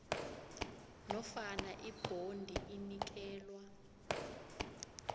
nofana ibhondi inikelwa